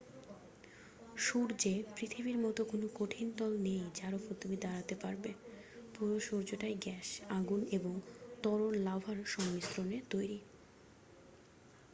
সূর্যে পৃথিবীর মত কোনো কঠিন তল নেই যার উপর তুমি দাঁড়াতে পারবে পুরো সূর্যটাই গ্যাস আগুন এবং তরল লাভার সংমিশ্রণে তৈরী